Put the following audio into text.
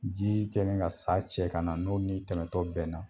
Jii kɛlen ka sa cɛ kana n'o n'i tɛmɛtɔ bɛnna